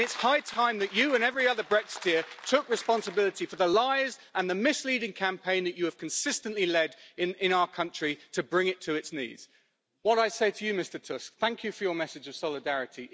It's high time that you and every other Brexiteer took responsibility for the lies and the misleading campaign that you have consistently led in our country to bring it to its knees. I say to you, Mr Tusk, thank you for your message of solidarity.